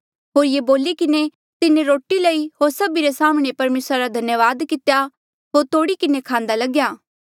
होर ये बोली किन्हें तिन्हें रोटी लई होर सभी रे साम्हणें परमेसरा रा धन्यावाद कितेया होर तोड़ी किन्हें खांदा लग्या